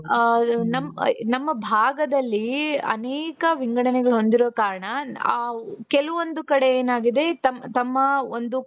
ಅ ನಮ್ ನಮ್ಮ ಭಾಗದಲ್ಲಿ ಅನೇಕ ವಿಂಗಡನೆಗಳು ಹೊಂದಿರುವ ಕಾರಣ ಆ ಕೆಲವೊಂದು ಕಡೆ ಏನಾಗಿದೆ ತಮ್ ತಮ್ಮ ಒಂದು